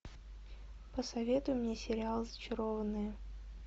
посоветуй мне сериал зачарованные